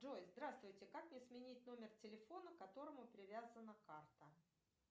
джой здравствуйте как мне сменить номер телефона к которому привязана карта